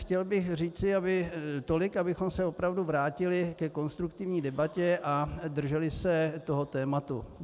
Chtěl bych říci tolik, abychom se opravdu vrátili ke konstruktivní debatě a drželi se toho tématu.